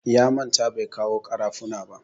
Ya manta bai kawo ƙarafuna ba.